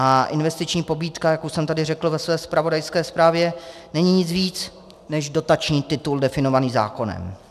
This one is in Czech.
A investiční pobídka, jak už jsem tady řekl ve své zpravodajské zprávě, není nic víc než dotační titul definovaný zákonem.